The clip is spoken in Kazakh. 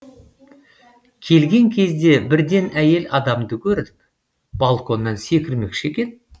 келген кезде бірден әйел адамды көрдік балконнан секірмекші екен